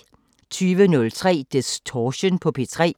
20:03: Distortion på P3